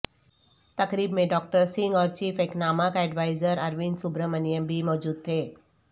تقریب میں ڈاکٹر سنگھ اور chief economic adviser Arvind Subramanian بھی موجود تھے